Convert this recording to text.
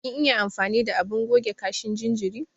Kin iya amfani da abin goge kashin jinjiri?